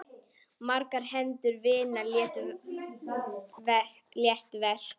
Margar hendur vinna létt verk.